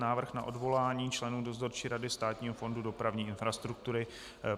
Návrh na odvolání členů Dozorčí rady Státního fondu dopravní infrastruktury